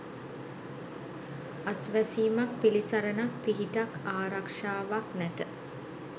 අස්වැසීමක් පිළිසරණක් පිහිටක් ආරක්‍ෂාවක් නැත.